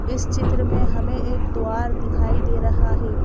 इस चित्र में हमें एक द्वार दिखाई दे रहा है।